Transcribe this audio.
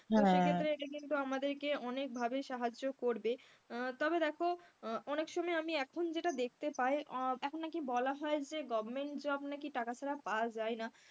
তো সেই ক্ষেত্রে এটা কিন্তু আমাদেরকে অনেকভাবে সাহায্য করবে, আহ তবে দেখো অনেক সময় আমি যে এখন যেটা দেখতে পায় এখন নাকি বলা হয় যে government job নাকি টাকা ছাড়া পাওয়া যায় না,